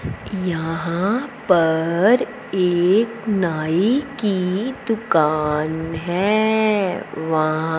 यहां पर एक नाई की दुकान है वहां--